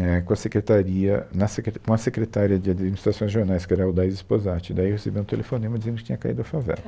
é, com a Secretaria, na Secreta, com a Secretária de Administrações Regionais, que era a Aldaiza Sposati, daí eu recebi um telefonema dizendo que tinha caído a favela.